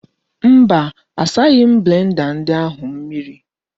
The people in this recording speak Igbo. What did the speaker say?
Mba asaghi m blenda ahụ mmiri.